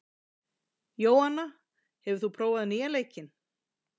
Jóanna, hefur þú prófað nýja leikinn?